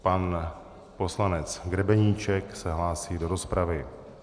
Pan poslanec Grebeníček se hlásí do rozpravy.